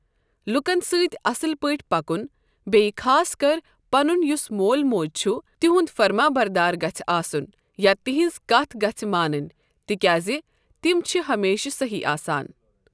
لُکَن سۭتۍ اَصل پٲٹھۍ پَکُن بیٚیہِ خاص کر پَنُن یُس مول موج چھُ تِہُنٛد فرمانبردار گژھِہ آسن یا تِہٕنٛز کَتھ گژھِہ مانٕنۍ تِکیازِ تِم چھِ ہمیشہ صحیح آسان۔